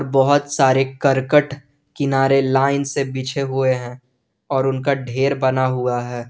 बहुत सारे करकट किनारे लाइन से पीछे हुए हैं और उनका ढेर बना हुआ है।